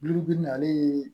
Dulu bin na ale ye